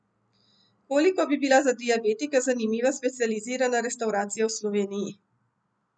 Koliko bi bila za diabetike zanimiva specializirana restavracija v Sloveniji?